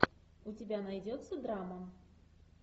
у тебя найдется драма